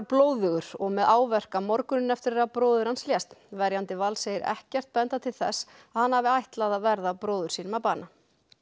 blóðugur og með áverka morguninn eftir að bróðir hans lést verjandi Vals segir ekkert benda til þess að hann hafi ætlað að verða bróður sínum að bana